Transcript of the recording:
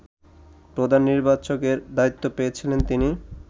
প্রধান নির্বাচকের দায়িত্ব পেয়েছিলেন তিনি